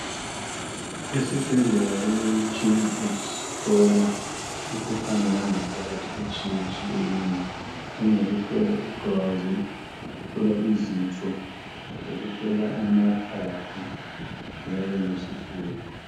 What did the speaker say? Esibhedlela kulemitshina yokuhlola imikhuhlane yangaphakathi etshiyetshiyeneyo njengokuhlola igazi, ukuhlola izinso, lokuhlola amaphaphu njalo lesifuba.